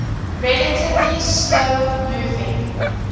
relatively slow moving